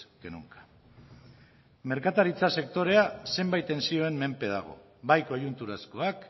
que nunca merkataritza sektorea zenbait tentsioen menpe dago bai koiunturazkoak